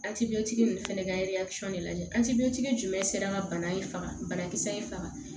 ninnu fɛnɛ ka de lajɛ jumɛn sera ka bana in faga banakisɛ in faga